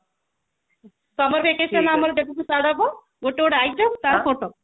summer vacation ଆମର ଯେବେଠୁ start ହେବ ଗୋଟେ ଗୋଟେ item ତାର ଫୋଟୋ